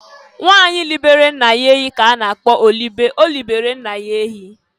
Nwanyị libere nna ya ehi ka a na-akpọ olibe (Olibere nna ya ehi).